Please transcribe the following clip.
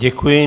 Děkuji.